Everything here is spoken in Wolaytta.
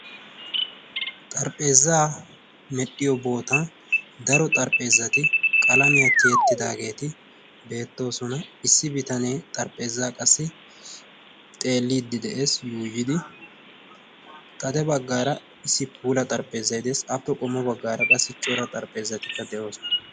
Xarphpheezzaa medhdhiyo boota daro xarphpheezzati qalamiyaa tiyettidaageeti beettoosona. issi bitanee xarphpheezza qassi xeeliiddi de'ees. yuuyidi xade baggaara issi puula xarphpheezzati deesi aappe qommo baggaara qassi cora xarphpheezzatikka de'oosona.